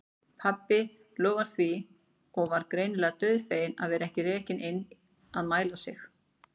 Pabbi lofaði því og var greinilega dauðfeginn að vera ekki rekinn inn að mæla sig.